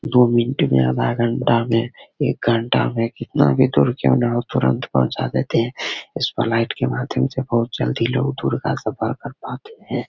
दो मिनट में आधा घंटा में एक घंटा में कितना भी दूर क्यों न हो तुरंत पहुंचा देते है इस फ्लाइट के माध्यम से बहुत जल्द ही लोग दूर का सफर कर पाते है।